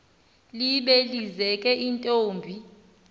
libe lizeke intombi